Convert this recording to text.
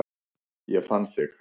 Ég fann þig